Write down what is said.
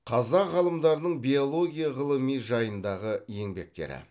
қазақ ғалымдарының биология ғылыми жайындағы еңбектері